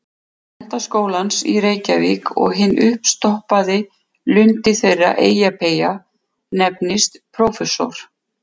Menntaskólans í Reykjavík- að hinn uppstoppaði lundi þeirra Eyjapeyja nefnist prófessor.